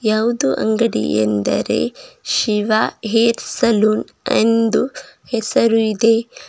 ಯಾವುದು ಅಂಗಡಿಯ ಎಂದರೆ ಶಿವ ಹೇರ್ ಸಲೂನ್ ಎಂದು ಹೆಸರು ಇದೆ.